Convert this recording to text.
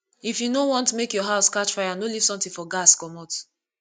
if you no want make your house catch fire no leave something for gas commot